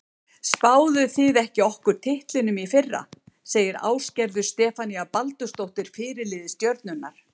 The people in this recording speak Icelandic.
Spáðuð þið ekki okkur titlinum í fyrra? segir Ásgerður Stefanía Baldursdóttir, fyrirliði Stjörnunnar.